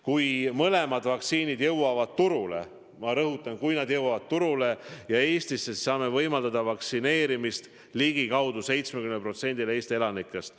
Kui mõlemad vaktsiinid jõuavad turule – ma rõhutan, kui nad jõuavad turule –, siis saame Eestis võimaldada vaktsineerimist ligikaudu 70%-le Eesti elanikest.